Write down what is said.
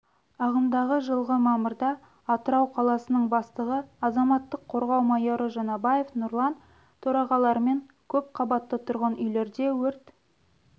ағымдағы жылғы мамырда атырау қаласының бастығы азаматтық қорғау майоры жаңабаев нұрлан төрағалығымен көпқабатты тұрғын үйлерде өрт